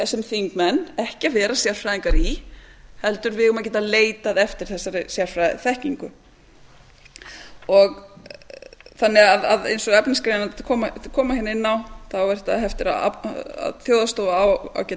sem þingmenn ekki að vera sérfræðingar í heldur eigum við að geta leitað eftir þessari sérfræðiþekkingu eins og efnisgreinarnar koma hérna inn á á þjóðhagsstofa á geta